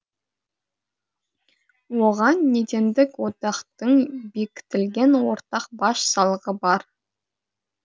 оған недендік одақтың бекітілген ортақ баж салығы бар